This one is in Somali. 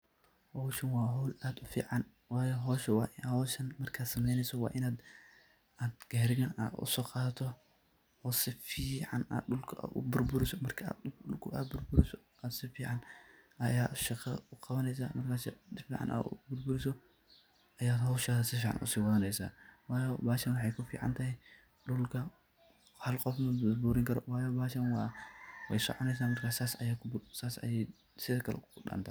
Hooshan wa hool aad u fican ,wayo hooshan markat sameeyneysoh wa Inaat AA Gaariga u so Qathatoh, oo sufican dulka u buurburisoh marka dulka buurburisoh ay sufican shaqoo u Qabaneysah markasa sufican buurburisoh marka hooshaas sufican u se watheneysah wayo bahashan waxa ku ficantahay dulka, Hal Qoof ma buurburini karoo bahashan wa so cuuneysah marka sas Aya sethethe Kai u dantah.